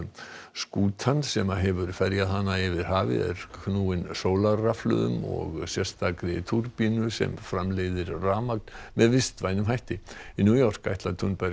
skútan sem hefur ferjað hana yfir hafið er knúin sólarrafhlöðum og sérstakri túrbínu sem framleiðir rafmagn með vistvænum hætti í New York ætlar Thunberg